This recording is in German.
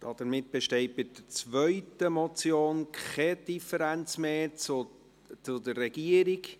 Damit besteht bei der zweiten Motion keine Differenz mehr zur Regierung.